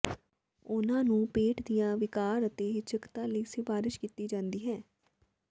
ਉਨ੍ਹਾਂ ਨੂੰ ਪੇਟ ਦੀਆਂ ਵਿਕਾਰ ਅਤੇ ਹਿਚਕਤਾ ਲਈ ਸਿਫਾਰਸ਼ ਕੀਤੀ ਜਾਂਦੀ ਹੈ